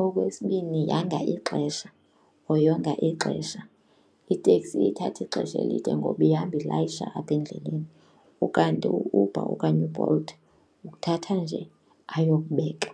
Okwesibini yanga ixesha or yonga ixesha. Iteksi iye ithathe ixesha elide ngoba ihamba ilayisha apha endleleni ukanti u-Uber okanye uBolt ukuthatha nje ayokubeka.